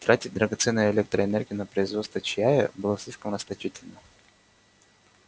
тратить драгоценную электроэнергию на производство чая было слишком расточительно